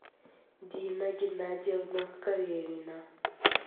дина геннадьевна карелина